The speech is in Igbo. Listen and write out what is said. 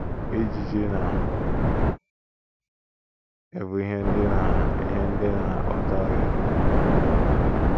Ijiji na - ebu ihe ndị na ihe ndị na - akpata ọrịa n’ụkwụ ha